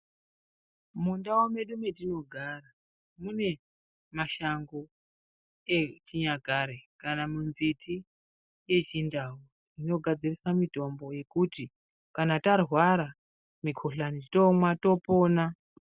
Mundau mwedu mwetinogara mune mashango echinyakare kana mumbiti yechindau inogadziriswa mitombo yekuti kana tarwara mukhuhlani tomwa topona.